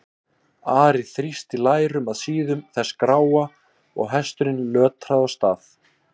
Ari þrýsti lærum að síðum þess gráa og hesturinn lötraði af stað.